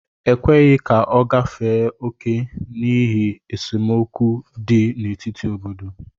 E kweghị ka ọ gafee oke n'ihi esemokwu dị n'etiti obodo